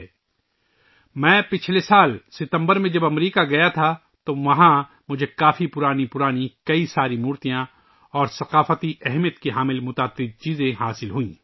جب میں پچھلے سال ستمبر میں امریکہ گیا تھا تو وہاں مجھے کافی پرانی پرانی بہت سی مورتیاں اور ثقافتی اہمیت کی بہت سی چیزیں ملیں